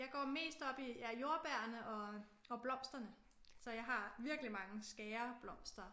Jeg går mest op i ja jordbærene og og blomsterne så jeg har virkelige mange skæreblomster